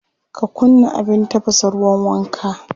Ka kunna abin tafasa ruwan wanka?